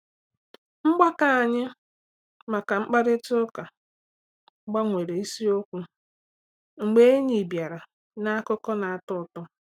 Mgbakọ anyị maka mkparịta ụka gbanwere isiokwu mgbe enyi bịara na akụkọ na-atọ ụtọ.